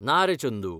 ना रे, चंदू.